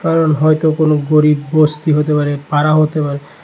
হয়তো কোনো গরিব বস্তি হতে পারে পাড়া হতে পারে।